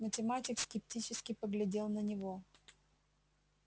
математик скептически поглядел на него